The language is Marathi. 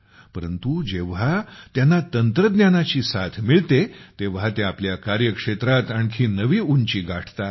परंतु जेव्हा त्यांना तंत्रज्ञानाची साथ मिळते तेव्हा ते आपल्या कार्यक्षेत्रात आणखी नवी उंची गाठतात